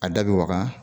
A da bɛ waga